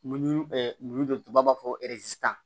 Mun tubabu b'a fɔ